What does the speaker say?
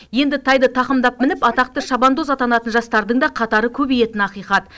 енді тайды тақымдап мініп атақты шабандоз атанатын жастардың да қатары көбейетіні ақиқат